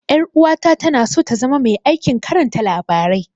Ƴar'uwata tana so ta zama mai aikin karanta labarai.